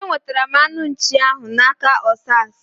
Enwetara m anụ nchii ahu na aka Osas